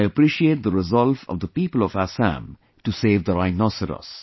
I appreciate the resolve of the people of Assam to save the rhinoceros